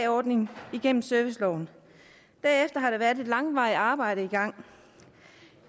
ordningen igennem serviceloven bagefter har der været et langvarigt arbejde i gang